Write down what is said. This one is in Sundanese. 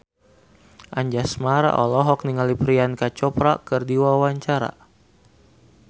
Anjasmara olohok ningali Priyanka Chopra keur diwawancara